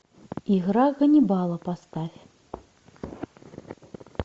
игра ганнибала поставь